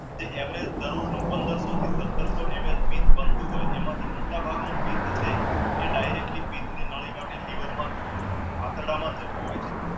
પંદરસો થી સત્તરસો MI બનતું હોય એમાં મોટા ભાગ છે એ directly liver માં આંતરડામાં જતું હોય છે.